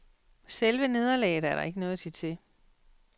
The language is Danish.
Selve nederlaget er der ikke noget at sige til.